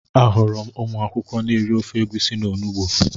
Ahụrụ m ụmụ akwụkwọ n'eri ofe egwusi na onugbu